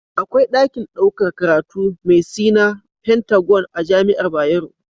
Akwai dakin ɗaukar karatu me Sina pentagon a jamiar bayero